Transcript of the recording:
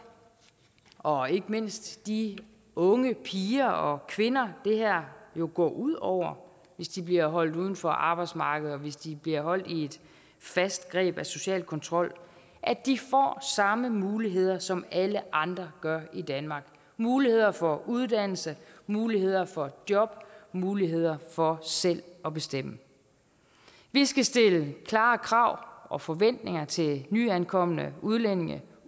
og ikke mindst de unge piger og kvinder det her jo går ud over hvis de bliver holdt uden for arbejdsmarkedet og hvis de bliver holdt i et fast greb af social kontrol at de får samme muligheder som alle andre gør i danmark muligheder for uddannelse muligheder for job muligheder for selv at bestemme vi skal stille klare krav og forventninger til nyankomne udlændinge